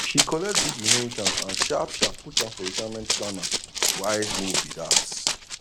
she collect big inheritance and sharp sharp put am for retirement planna wise move be that